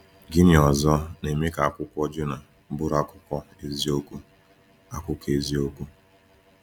Gịnị ọzọ na-eme ka Akwụkwọ Jọnà bụrụ akụkọ eziokwu? akụkọ eziokwu?